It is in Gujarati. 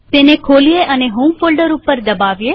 તેને ખોલીએ અને હોમ ફોલ્ડર ઉપર દબાવીએ